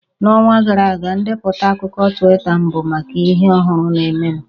N'ọnwa gara aga, ndepụta akụkọ Twita m bụ maka ihe ọhụrụ na-emenụ